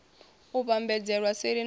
u vhambadzelwa seli na u